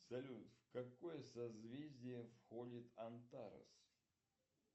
салют в какое созвездие входит антарес